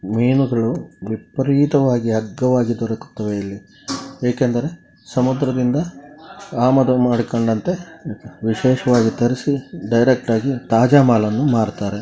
ಮೀನುಗಳು ವಿಪರೀತವಾಗಿ ಅಗ್ಗವಾಗಿ ದೊರಕುತ್ತವೆ ಇಲ್ಲಿ ಏಕೆಂದರೆ ಸಮುದ್ರದಿಂದ ಆಮದು ಮಾಡಿಕೊಂಡಂತೆ ವಿಶೇಷವಾಗಿ ತರಿಸಿ ಡೈರೆಕ್ಟ್ ಆಗಿ ತಾಜಾ ಮಾಲನ್ನು ಮಾರುತ್ತಾರೆ .